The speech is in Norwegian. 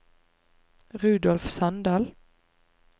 Rudolf Sandal